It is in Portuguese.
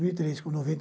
mil e três com noventa